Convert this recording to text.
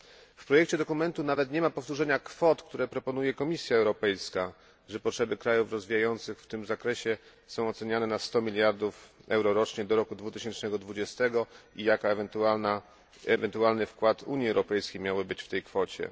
W projekcie dokumentu nawet nie ma powtórzenia kwot, które proponuje Komisja Europejska że potrzeby krajów rozwijających się w tym zakresie są oceniane na 100 miliardów euro rocznie do roku 2020 i jaki ewentualny wkład Unii Europejskiej miałby być w tej kwocie?